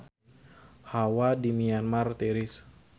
Hawa di Myanmar tiris